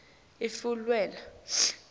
ifulelwa